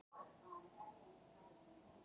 Þeir eru orðnir vanir þessu.